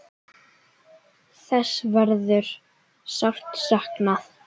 Þess verður sárt saknað.